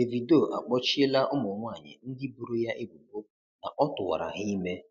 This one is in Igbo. Davido akpọchịela ụmụnwanyị ndị boro ya ebubo na ọ tụwara ha ime.